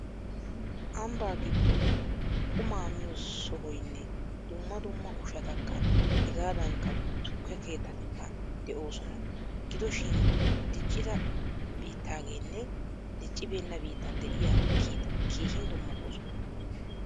Ambbaa giddon quma miyo sohoynne dumma dumma ushshatakka hegaadaanikka tukke. keettatikka de'oosona. Gidoshin diccida biittaageenne diccibeenna bittan de'iya keettati keehin dummatoosona.